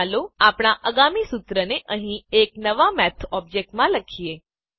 ચાલો આપણા આગામી સૂત્રને અહીં એક નવા મેથ ઓબ્જેક્ટમાં લખીએ